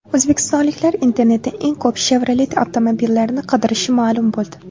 O‘zbekistonliklar internetda eng ko‘p Chevrolet avtomobillarini qidirishi ma’lum bo‘ldi.